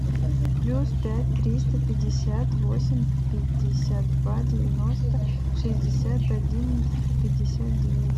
плюс пять триста пятьдесят восемь пятьдесят два девяносто шестьдесят один пятьдесят девять